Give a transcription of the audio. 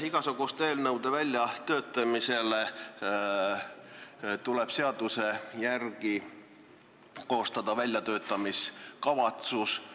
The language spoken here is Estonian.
Igasuguste eelnõude väljatöötamisel tuleb seaduse järgi koostada väljatöötamiskavatsus.